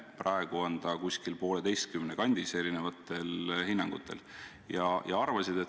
Praegu on see erinevatel hinnangutel umbes 1,5.